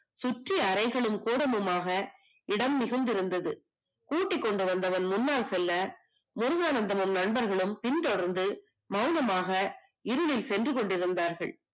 சுற்றும் அறைகளும் கூடமுமாக இடம் மிகுந்திருந்தது கூட்டிக் கொண்டு வந்தவன் முன்னாள் செல்ல முருகானந்தமும் நண்பர்களும் பின்தொடர்ந்து மௌனமாக இருளில் சென்று கொண்டிருந்தான்